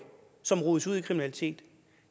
kriminalitet